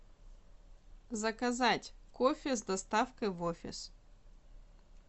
заказать кофе с доставкой в офис